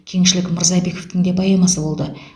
кеңшілік мырзабековтің де поэмасы болды